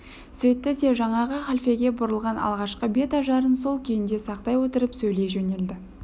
сөйтті де жаңағы халфеге бұрылған алғашқы бет ажарын сол күйінде сақтай отырып сөйлей жөнелді